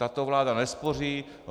Tato vláda nespoří.